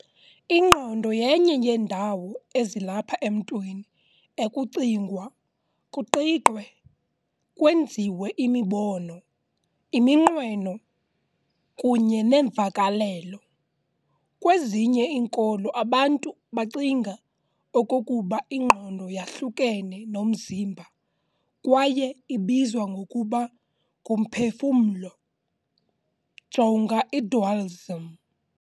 Ingqondo yenye yeendawo ezilapha emntwini ekucingwa, kuqiqwe, kwenziwe imibono, iminqweno, kunye neemvakalelo. Kwezinye iinkolo abantu bacinga okokuba ingqondo yahlukene nomzimba kwaye ibizwa ngokuba ngumphefumlo, jonga idualism.